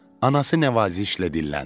Anası nəvazişlə dilləndi.